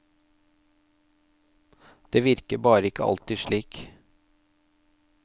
Det virker bare ikke alltid slik.